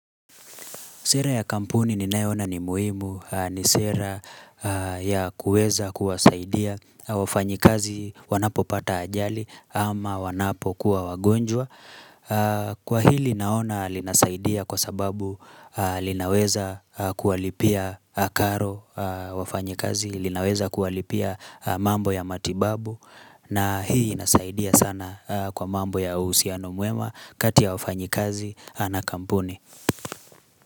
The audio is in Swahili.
Sera ya kampuni ninayo ona ni muhimu ni sera ya kuweza kuwasaidia wafanyikazi wanapopata ajali ama wanapo kuwa wagonjwa. Kwa hili naona linasaidia kwa sababu linaweza kuwalipia karo wafanyikazi, linaweza kuwalipia mambo ya matibabu na hii nasaidia sana kwa mambo ya uhusiano mwema kati ya wafanyikazi na kampuni.